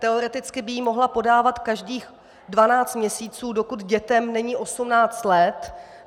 Teoreticky by ji mohla podávat každých 12 měsíců, dokud dětem není 18 let.